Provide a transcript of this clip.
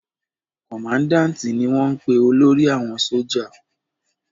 Kọmandáǹti ni wọ́n ń pe olórí àwọn sójà